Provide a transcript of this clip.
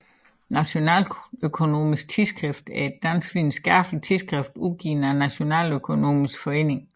Nationaløkonomisk Tidsskrift er et dansk videnskabeligt tidsskrift udgivet af Nationaløkonomisk Forening